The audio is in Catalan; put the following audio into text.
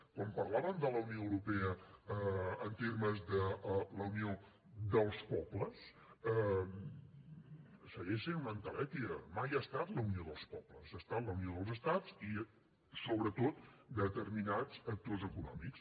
quan parlàvem de la unió europea en termes de la unió dels pobles segueix sent una entelèquia mai ha estat la unió dels pobles ha estat la unió dels estats i sobretot de determinats actors econòmics